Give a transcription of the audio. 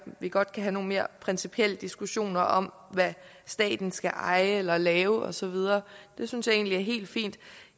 vi godt kan have nogle mere principielle diskussioner om hvad staten skal eje eller lave og så videre det synes jeg egentlig er helt fint